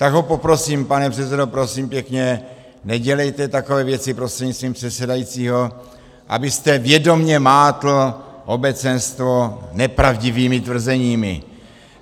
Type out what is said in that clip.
Tak ho poprosím, pane předsedo, prosím pěkně, nedělejte takové věci prostřednictvím předsedajícího, abyste vědomě mátl obecenstvo nepravdivými tvrzeními.